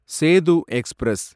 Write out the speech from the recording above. Setu express